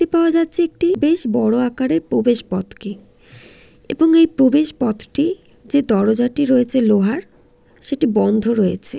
দেখতে পেয়ে যাচ্ছি একটি বেশ বড়ো আকারের প্রবেশ পথকে এবং এই প্রবেশ পথটি যে দরজাটি রয়েছে লোহার সেটি বন্ধ রয়েছে।